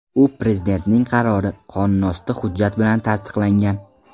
U Prezidentning qarori – qonunosti hujjati bilan tasdiqlangan.